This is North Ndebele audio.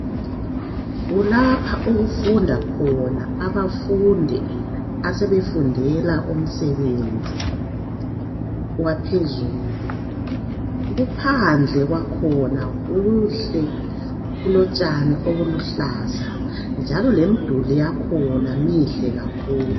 Kulapha okufunda khona abafundi asebefundela umsebenzi waphezulu. Kuphandle kwakhona okuhle. Kulotshani obuluhlaza, njalo lemimduli yakhona mihle kakhulu.